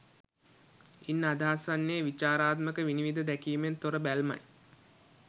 ඉන් අදහස් වන්නේ විචාරාත්මක විනිවිද දැකීමෙන් තොර බැල්මයි